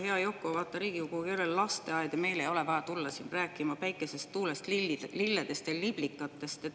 Hea Yoko, vaata, Riigikogu ei ole lasteaed ja meile ei ole vaja tulla rääkima päikesest, tuulest, lilledest ja liblikatest.